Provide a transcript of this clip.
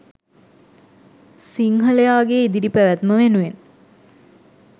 සිංහලයාගේ ඉදිරි පැවැත්ම වෙනුවෙන්.